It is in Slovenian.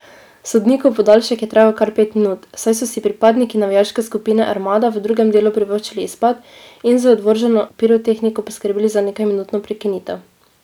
Sodnikov podaljšek je trajal kar pet minut, saj so si pripadniki navijaške skupine Armada v drugem delu privoščili izpad in z odvrženo pirotehniko poskrbeli za nekajminutno prekinitev.